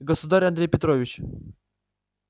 государь андрей петрович